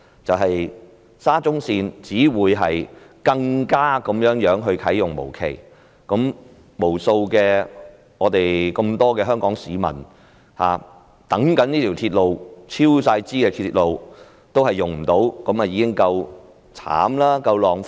就是沙中線只會啟用無期，無數香港市民期待的這條嚴重超支的鐵路將無法使用，這已經夠可憐，亦十分浪費。